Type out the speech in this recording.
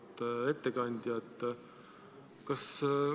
Auväärt ettekandja!